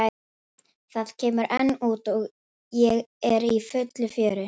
Það kemur enn út og er í fullu fjöri.